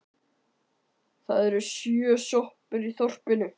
Það eru sjö sjoppur í þorpinu!